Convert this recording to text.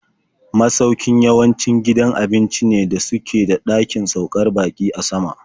Masaukin in yawanci gidan abinci ne da suke da ɗakin saukar baƙi a sama.